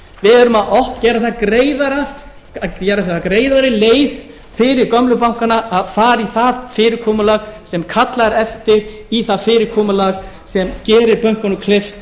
við erum að gera það greiðari leið fyrir gömlu bankana að fara í það fyrirkomulag sem kallar eftir í það fyrirkomulag sem gerir bönkunum kleift